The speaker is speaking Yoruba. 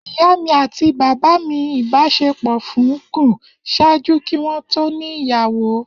Iya mi ati baba mi ibaṣepọ fun gun ṣaaju ki wọn to ni iyawo.